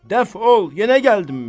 Dəf ol, yenə gəldinmi?